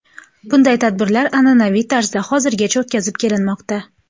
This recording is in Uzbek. Bunday tadbirlar an’anaviy tarzda hozirgacha o‘tkazib kelinmoqda.